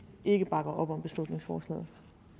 ikke bakker op om beslutningsforslaget